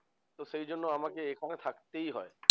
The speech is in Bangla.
তো সেই জন্য আমাকে এখানে থাকতেই হয়।